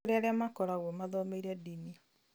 nĩ kũrĩ arĩa makoragwo mathomeire ndini